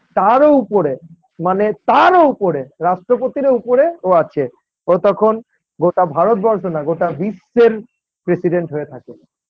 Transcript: তারও উপরে মানে তারও উপরে রাষ্ট্রপতিরও উপরে ও আছে ও তখন গোটা ভারতবর্ষ না গোটা বিশ্বের president হয়ে থাকে।